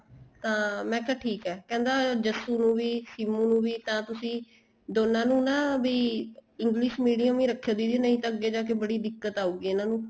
ਤਾਂ ਮੈਂ ਕਿਹਾ ਠੀਕ ਏ ਕਹਿੰਦਾ ਜੱਸੂ ਨੂੰ ਵੀ ਸਿਮੂ ਨੂੰ ਵੀ ਤਾਂ ਤੁਸੀਂ ਦੋਨਾ ਨੂੰ ਨਾ ਵੀ English Medium ਹੀ ਰੱਖਿਉ ਦੀਦੀ ਨਹੀਂ ਤਾਂ ਅੱਗੇ ਜਾਕੇ ਬੜੀ ਦਿੱਕਤ ਆਉਗੀ ਇਹਨਾ ਨੂੰ